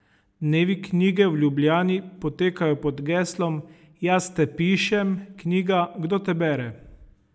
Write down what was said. Dnevi knjige v Ljubljani potekajo pod geslom Jaz te pišem, knjiga, kdo te bere?